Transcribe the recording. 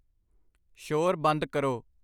ਸ਼ੋਰ ਬੰਦ ਕਰੋ।